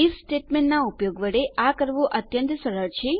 if સ્ટેટમેંટનાં ઉપયોગ વડે આ કરવું અત્યંત સરળ છે